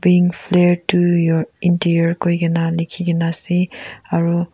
bring flare to your interior kuikena likhigena ase aru.